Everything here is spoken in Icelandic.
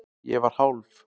Ég var hálf